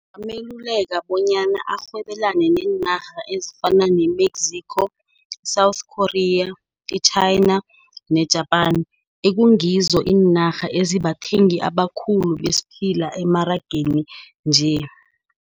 Ngingameluleka bonyana azirhwebelane neenarha ezifana ne-Mexico, South Korea, i-China ne-Japan. Ekungizo iinarha ezibathengi abakhulu besiphila emarageni nje.